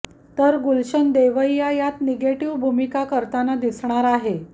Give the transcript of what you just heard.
तर गुलशन देवैया यात निगेटिव्ह भूमिका करताना दिसणार आहे